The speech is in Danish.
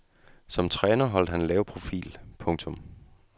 Som træner holdt han en lav profil. punktum